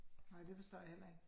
Ej, det forstår jeg heller ikke